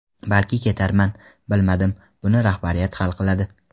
Balki ketarman, bilmadim, buni rahbariyat hal qiladi.